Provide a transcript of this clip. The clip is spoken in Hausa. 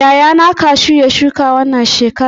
Yayana kashu ya shuka wannan shekarar.